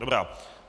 Dobrá.